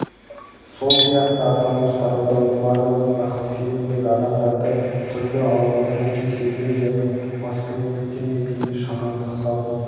сол сияқты аталмыш тарауда омарованың бақсы фильміндегі адамдарды түрлі аурудан кеселден және маскүнемдіктен емдейтін шамандық салтын